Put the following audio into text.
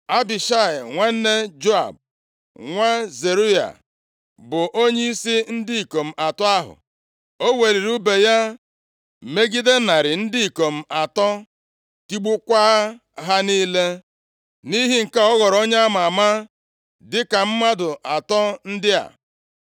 Abishai, nwanne Joab, nwa Zeruaya, bụ onyeisi ndị ikom atọ ahụ. O weliri ùbe ya megide narị ndị ikom atọ, tigbukwaa ha niile. Nʼihi nke a ọ ghọrọ onye a ma ama dịka mmadụ atọ ndị a.